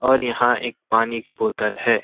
और यहाँ एक पानी की बोतल है।